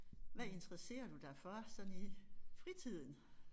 Hvad interesserer du dig for sådan i fritiden?